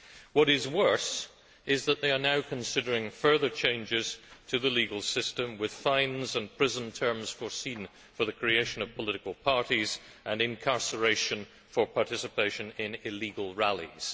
What is worse is that they are now considering further changes to the legal system, with fines and prison terms foreseen for the creation of political parties, and incarceration for participation in illegal rallies.